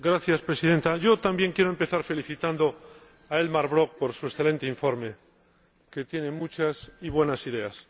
Señora Presidenta, yo también quiero empezar felicitando a Elmar Brok por su excelente informe, que tiene muchas y buenas ideas.